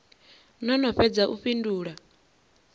no no fhedza u fhindula